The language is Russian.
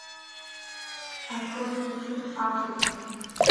открой мне фильм африка